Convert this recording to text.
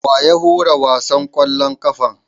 Wa ya hura wasan ƙwallon ƙafan?